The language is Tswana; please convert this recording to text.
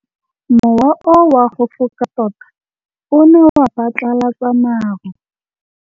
Mowa o wa go foka tota o ne wa phatlalatsa maru.